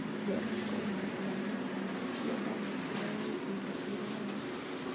Thoroko na ndengũ ciendaga mbura ya ihinda iraya